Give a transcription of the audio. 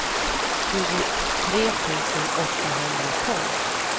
tjugotre tusen åttahundratolv